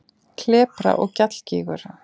Klepra- og gjallgígur